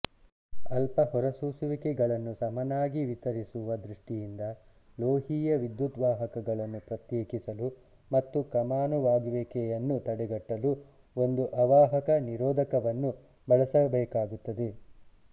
ಅಲ್ಪ ಹೊರಸೂಸುವಿಕೆಗಳನ್ನು ಸಮನಾಗಿ ವಿತರಿಸುವ ದೃಷ್ಟಿಯಿಂದ ಲೋಹೀಯ ವಿದ್ಯುದ್ವಾಹಕಗಳನ್ನು ಪ್ರತ್ಯೇಕಿಸಲು ಮತ್ತು ಕಮಾನಾಗುವಿಕೆಯನ್ನು ತಡೆಗಟ್ಟಲು ಒಂದು ಅವಾಹಕ ನಿರೋಧಕವನ್ನು ಬಳಸಬೇಕಾಗುತ್ತದೆ